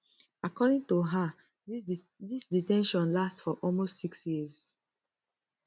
according to her dis de ten tion last for almost six years